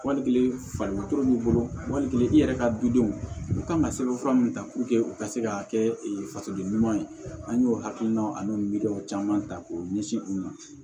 Wali kelen fari b'i bolo wali kelen i yɛrɛ ka dudenw u kan ka sɛbɛn fura mun ta u ka se ka kɛ fasoden ɲumanw ye an y'o hakilina ani midɔw caman ta k'o ɲɛsin u ma